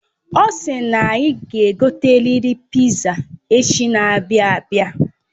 Osi na anyị ga egoteriri piza echi n'abia abia